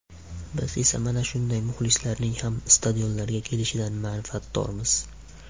Biz esa mana shunday muxlislarning ham stadionlarga kelishidan manfaatdormiz.